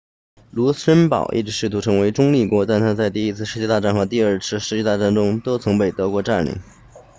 卢森堡一直试图成为中立国但它在第一次世界大战和第二次世界大战中都曾被德国占领